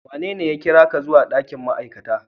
Wanene ya kira ka zuwa ɗakin ma'aikata?